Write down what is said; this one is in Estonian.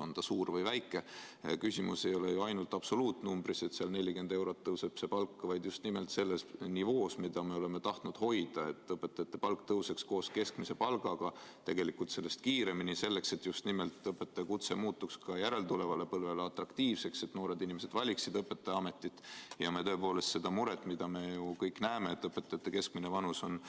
On ta suur või väike – küsimus ei ole ju ainult absoluutnumbris, selles, et palk tõuseb 40 eurot, vaid just nimelt selles nivoos, mida me oleme tahtnud hoida, selles, et õpetajate palk tõuseks koos keskmise palgaga, tegelikult sellest kiireminigi, nii et õpetajakutse muutuks ka järeltulevale põlvele atraktiivseks, noored inimesed valiksid õpetajaameti ja me leiaksime leevendust murele, mida me kõik ju näeme – sellele, õpetajate keskmine vanus on